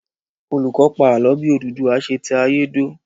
Olùkọ́ pa ààlọ́ bí Odùduwà ṣe tẹ ayé dó